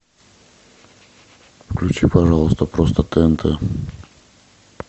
включи пожалуйста просто тнт